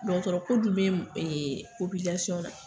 Dɔgɔtɔrɔ ko dun be ee na.